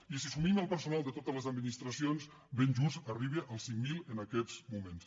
i si assumim el personal de totes les administracions ben just arriba als cinc mil en aquests moments